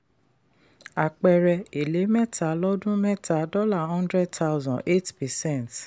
àpẹẹrẹ: èlé mẹ́ta lọ́dún mẹ́ta dollar hundred thousand eight percent.